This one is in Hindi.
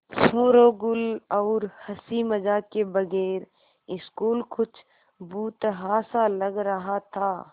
शोरोगुल और हँसी मज़ाक के बगैर स्कूल कुछ भुतहा सा लग रहा था